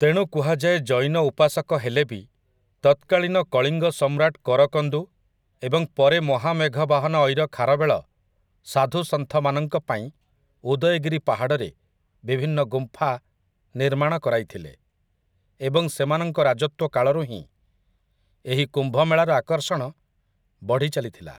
ତେଣୁ କୁହାଯାଏ ଜୈନ ଉପାସକ ହେଲେ ବି ତତ୍କାଳୀନ କଳିଙ୍ଗ ସମ୍ରାଟ କରକନ୍ଦୁ ଏବଂ ପରେ ମହାମେଘବାହାନ ଐର ଖାରବେଳ ସାଧୁସନ୍ଥମାନଙ୍କ ପାଇଁ ଉଦୟଗିରି ପାହାଡ଼ରେ ବିଭିନ୍ନ ଗୁମ୍ଫା ନିର୍ମାଣ କରାଇଥିଲେ ଏବଂ ସେମାନଙ୍କ ରାଜତ୍ୱ କାଳରୁ ହିଁ ଏହି କୁମ୍ଭମେଳାର ଆକର୍ଷଣ ବଢ଼ି ଚାଲିଥିଲା ।